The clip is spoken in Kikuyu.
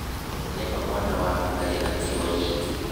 Nĩ ma mwana waku ndarĩ na kirũ nyingĩ